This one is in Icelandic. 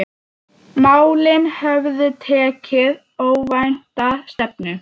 Málin höfðu tekið óvænta stefnu.